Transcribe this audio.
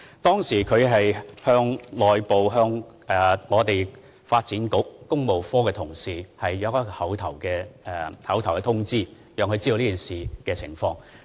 當時，署長向發展局工務科同事作出口頭通知，讓他們知悉此事。